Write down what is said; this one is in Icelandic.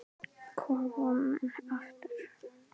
Við höfum engu að tapa.